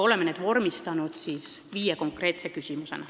Oleme vormistanud viis konkreetset küsimust.